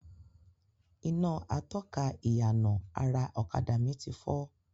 Iná atọ́ka ìyànà ara ọ̀kadà mi ti fọ́